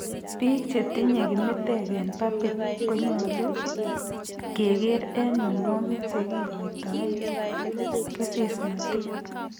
Biik chetiinye kimitek ab pubic konyolu kekeer eng' mionwogik chekikoitoen kesesnotet